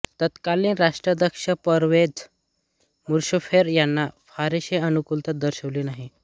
तत्कालिन राष्ट्राध्यक्ष परवेझ मुशर्रफ यांनी फारसी अनुकुलता दर्शविली नाही